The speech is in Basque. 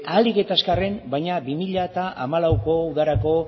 ahalik eta azkarren baina bi mila hamalauko udarako